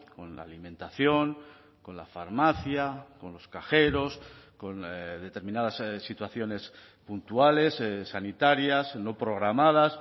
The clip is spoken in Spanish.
con la alimentación con la farmacia con los cajeros con determinadas situaciones puntuales sanitarias no programadas